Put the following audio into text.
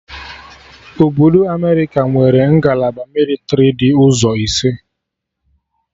Obodo Amerịka nwere ngalaba mịlịtrị dị ụzọ ise